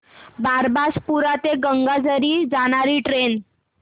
बारबासपुरा ते गंगाझरी जाणारी ट्रेन